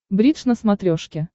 бридж на смотрешке